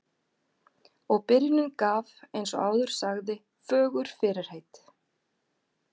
Og byrjunin gaf, eins og áður sagði, fögur fyrirheit.